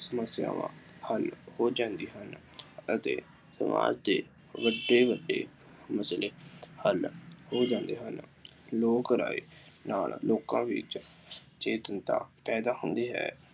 ਸਮੱਸਿਆਵਾਂ ਹੱਲ ਹੋ ਜਾਂਦੀਆ ਅਤੇ ਸਮਾਜ ਦੇ ਵੱਡੇ ਵੱਡੇ ਨਸਲੀ ਹੱਲ ਹੋ ਜਾਂਦੇ ਹਨ। ਲੋਕ ਰਾਏ ਨਾਲ ਲੋਕਾਂ ਵਿੱਚ ਚੇਤਨਤਾ ਪੈਦਾ ਹੁੰਦੀ ਹੈ।